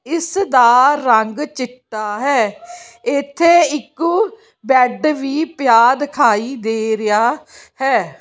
ਇਸ ਦਾ ਰੰਗ ਚਿੱਟਾ ਹੈ ਇੱਥੇ ਇੱਕ ਬੈਡ ਵੀ ਪਿਆ ਦਿਖਾਈ ਦੇ ਰਿਹਾ ਹੈ।